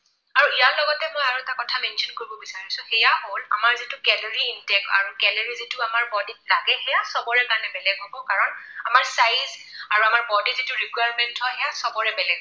মই আৰু এটা কথা mention কৰিব বিচাৰিছো, সেয়া হল আমাৰ যিটো calorie intake আৰু calorie যিটো আমাৰ body ত লাগে সেয়া চবৰে কাৰণে বেলেগ হব কাৰণ আমাৰ size আৰু আমাৰ body ৰ যিটো requirement হয় সেয়া চবৰে বেলেগ